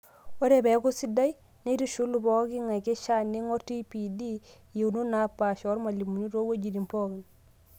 Ore peaku sidai, neitushulu pooking'ae, keishaa neing'orr TPD iyeunot naapasha oormalimuni toowejitin pookin.